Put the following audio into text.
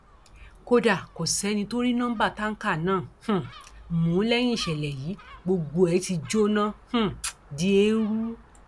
kódà kò sẹni tó rí nọmba táǹkà náà um mú lẹyìn ìṣẹlẹ yìí gbogbo ẹ ti jóná um di eérú